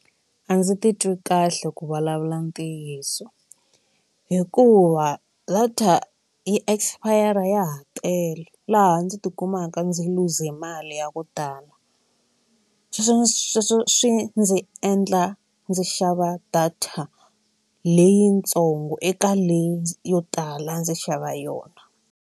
A ndzi titwi kahle ku vulavula ntiyiso hikuva data yi expire ya ha tele laha ndzi tikumaka ndzi luze mali ya ku tala sweswo sweswo swi ndzi endla ndzi xava data leyitsongo eka leyi yo tala a ndzi xava yona.